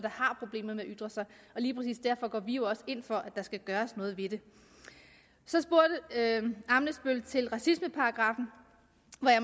har problemer med at ytre sig og lige præcis derfor går vi jo også ind for at der skal gøres noget ved det så spurgte herre ammitzbøll andet til racismeparagraffen